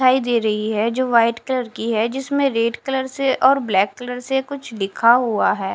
दिखाई दे रही है जो व्हाइट कलर की है जिसमें रेड कलर से और ब्लैक कलर से कुछ लिखा हुआ हैं।